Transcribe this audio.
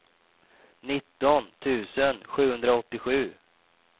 nitton tusen sjuhundraåttiosju